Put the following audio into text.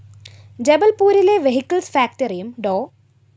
ജബല്‍പൂരിലെ vehicles ഫാക്ടറിയും ഡോ